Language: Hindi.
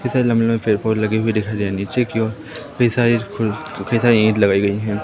कई सारे लंबे लंबे पेड़ पौधे लगे हुए दिखाई दे रहे हैं नीचे की ओर कई सारे फूल कई सारे ईट लगाई गई हैं।